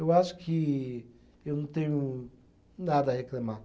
Eu acho que eu não tenho nada a reclamar.